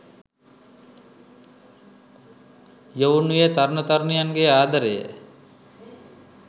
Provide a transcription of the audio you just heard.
යොවුන් වියේ තරුණ තරුණියන්ගේ ආදරය